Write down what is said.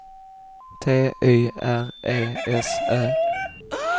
T Y R E S Ö